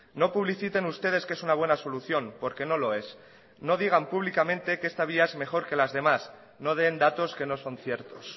no publiciten ustedes que es una buena solución porque no lo es no digan públicamente que esta vía es mejor que las demás no den datos que nos son ciertos